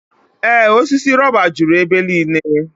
Ee osisi rọba juru ebe niile.